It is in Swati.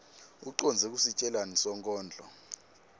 ucondze kusitjelani sonkondlo